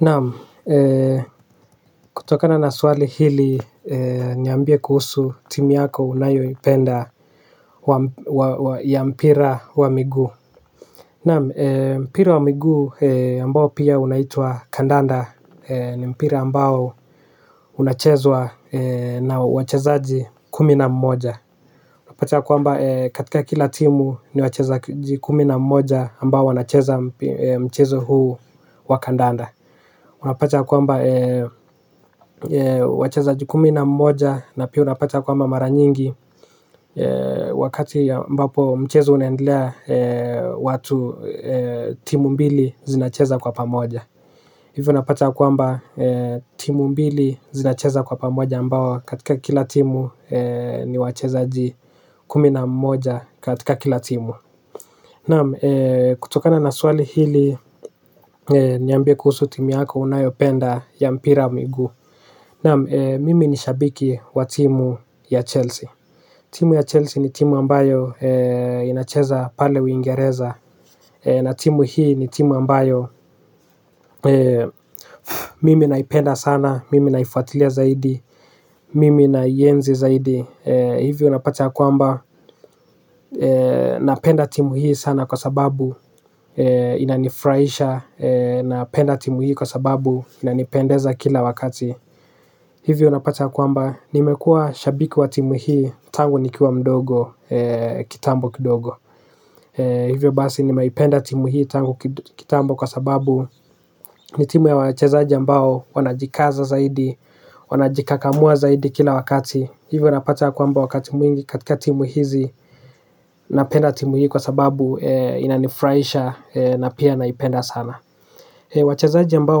Naam, kutokana na swali hili niambie kuhusu timu yako unayoipenda ya mpira wa miguu. Naam, mpira wa miguu ambao pia unaitwaa kandanda ni mpira ambao unachezwa na wachezaji kumi na mmoja unapata ya kwamba katika kila timu ni wachezaji kumi na mmoja ambao wanacheza mchezo huu wa kandanda. Unapata kwamba wachezaji kumi na mmoja na pia unapata kwamba maranyingi wakati ambapo mchezo unaendelea watu timu mbili zinacheza kwa pamoja hivi unapata ya kwamba timu mbili zinacheza kwa pamoja ambao katika kila timu ni wachezaji kumi na mmoja katika kila timu, naam kutokana na swali hili niambie kuhusu team yako unayopenda ya mpira wa miguu. Naam, mimi ni shabiki wa timu ya Chelsea. Timu ya Chelsea ni timu ambayo inacheza pale uingereza na timu hii ni timu ambayo mimi naipenda sana, mimi naifuatilia zaidi, mimi naienzi zaidi. Hivyo unapata ya kwamba napenda timu hii sana kwa sababu inanifurahisha napenda timu hii kwa sababu inanipendeza kila wakati hivyo unapata ya kwamba nimekuwa shabiki wa timu hii tangu nikiwa mdogo kitambo kidogo. Hivyo basi nimeipenda timu hii tangu kitambo kwa sababu ni timu ya wachezaji ambao wanajikaza zaidi, wanajikakamua zaidi kila wakati. Hivyo unapata kwamba wakati mwingi katika timu hizi napenda timu hii kwa sababu inanifurahisha na pia naipenda sana. Wachezaji ambao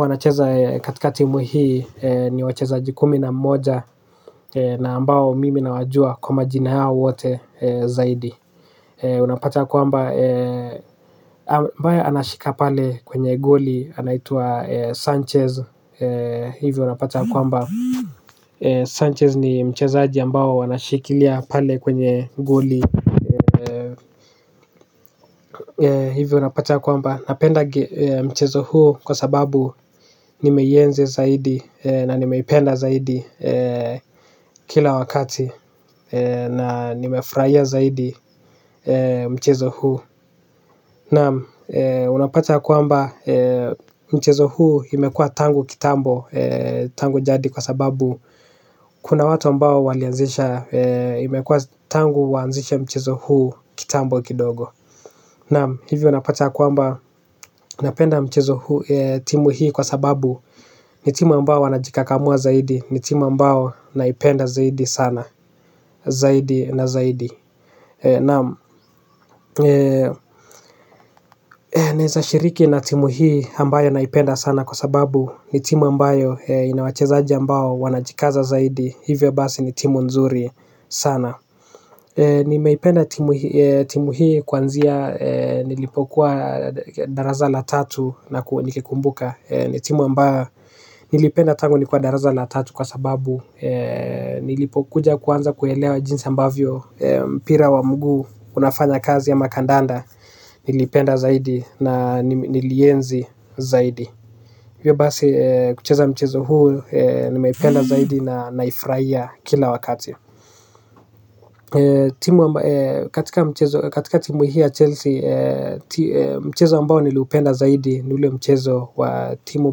wanacheza katika timu hii ni wachezaji kumi na mmoja. Na ambao mimi nawajua kwa majina yao wote zaidi. Unapata kwamba ambaye anashika pale kwenye goli anaitwa Sanchez hivi unapata kwamba Sanchez ni mchezaaji ambao wanashikilia pale kwenye goli hivi unapata kwamba napenda mchezo huu kwa sababu nimeienzi zaidi na nimeipenda zaidi kila wakati na nimefurahia zaidi mchezo huu nam unapata kwamba mchezo huu imekuwa tangu kitambo tangu jadi kwa sababu kuna watu ambao walianzisha, imekuwa tangu waanzishe mchezo huu kitambo kidogo. Naam, hivyo napata kuamba napenda mchezo huu timu hii kwa sababu ni timu ambayo wanajikakamua zaidi, ni timu ambayo naipenda zaidi sana. Zaidi na zaidi. Naam, naeza shiriki na timu hii ambayo naipenda sana kwa sababu ni timu ambayo ina wachezaji ambao wanajikaza zaidi. Hivyo basi ni timu nzuri sana. Nimeipenda timu hii kwanzia nilipokuwa darasa la tatu nakuwa nikikumbuka. Ni timu ambayo nilipenda tangu nikiwa darasa la tatu kwa sababu nilipokuja kuanza kuelewa jinsi ambavyo mpira wa mguu unafanya kazi ama kandanda. Nilipenda zaidi na nilienzi zaidi hivyo basi kucheza mchezo huu nimeipenda zaidi na naifurahia kila wakati. Katika timu hii ya Chelsea Mchezo ambao nilipenda zaidi ni ule mchezo wa timu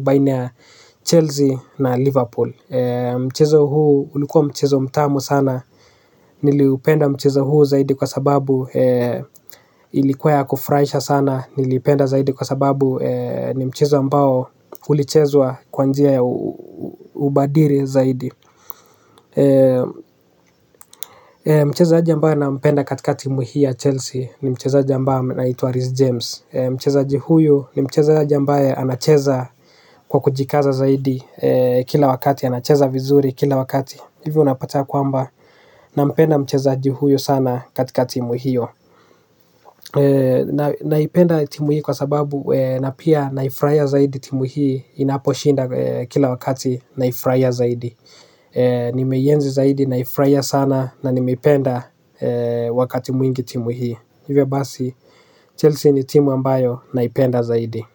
baina ya Chelsea na Liverpool. Mchezo huu ulikuwa mchezo mtamu sana. Niliupenda mchezo huu zaidi kwa sababu ilikuwa ya kufurahisha sana. Niliipenda zaidi kwa sababu ni mchezo ambao ulichezwa kwa njia ya ubadiri zaidi. Mchezaji ambaye nampenda katika timu hii ya Chelsea. Ni mchezaji ambaye anaitwa Reece James. Mchezaji huyu ni mchezaji ambaye anacheza kwa kujikaza zaidi. Kila wakati anacheza vizuri kila wakati. Hivyo unapata yakwamba nampenda mchezaji huyu sana katika timu hio. Naipenda timu hii kwa sababu na pia naifurahia zaidi timu hii. Inaposhinda kila wakati naifurahia zaidi. Nimeienzi zaidi naifurahia sana na nimeipenda wakati mwingi timu hii. Hivyo basi Chelsea ni timu ambayo naipenda zaidi.